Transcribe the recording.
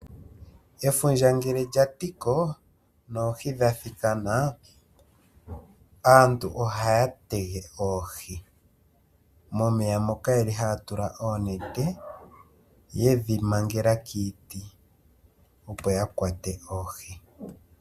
Efundja ngele lya tiko noohi dha thikana, aantu ohaya tege oohi momeya moka haya tula oonete ye dhi mangela kiiti opo ya kwate oohi.